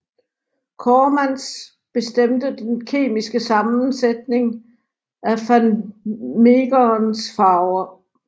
Coremans bestemmte den kemiske sammensætning af van Meegerens farver